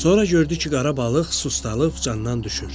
Sonra gördü ki, qara balıq sustalıb candan düşür.